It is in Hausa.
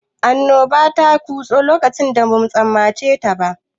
Annoba ta kutso lokacin da bamu tsammaceta ba.